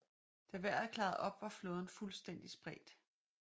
Da vejret klarede op var flåden fuldstændig spredt